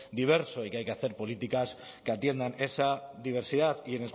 diverso y que hay que hacer políticas que atiendan esa diversidad y